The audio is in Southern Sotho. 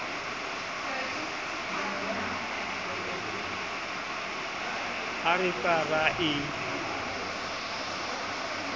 ha re ka ra e